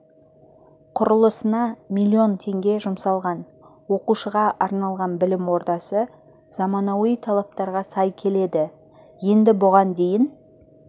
құрылысына миллион теңге жұмсалған оқушыға арналған білім ордасы заманауи талаптарға сай келеді енді бұған дейін